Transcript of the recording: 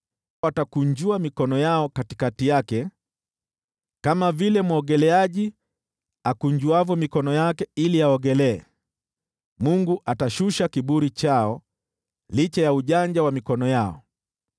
Watakunjua mikono yao katikati yake, kama vile mwogeleaji akunjuavyo mikono yake ili aogelee. Mungu atashusha kiburi chao licha ya ujanja wa mikono yao.